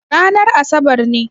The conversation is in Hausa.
Ranar asabar ne.